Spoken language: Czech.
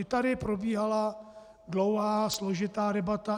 I tady probíhala dlouhá, složitá debata.